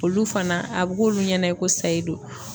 Olu fana ,a be k'olu ɲɛna i ko sayi de don.